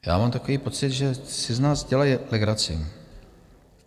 Já mám takový pocit, že si z nás dělají legraci.